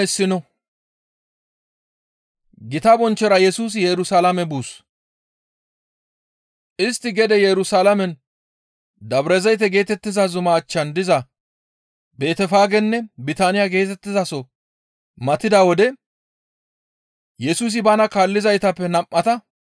Istti gede Yerusalaamen Dabrazayte geetettiza zuma achchan diza Betefaagenne Bitaaniya geetettizaso matida wode Yesusi bana kaallizaytappe nam7ata,